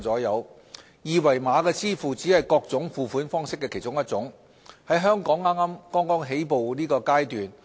二維碼支付只是各種付款方式的其中一種，在香港是剛起步階段。